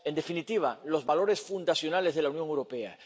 En definitiva, los valores fundacionales de la Unión Europea.